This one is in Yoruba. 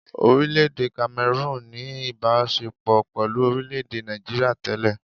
Orílẹ-èdè Cameroon ní ìbaṣepọ̀ pẹ̀lú orílẹ̀-èdè Nigeria tẹ́lẹ̀.